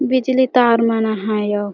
बिजली तार मन आहय अउ --